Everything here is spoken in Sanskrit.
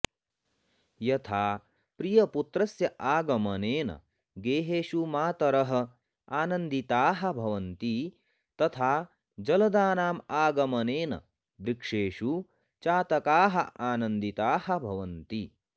यथा प्रियपुत्रस्य आगमनेन गेहेषु मातरः आनन्दिताः भवन्ति तथा जलदानाम् आगमनेन वृक्षेषु चातकाः आनन्दिताः भवन्ति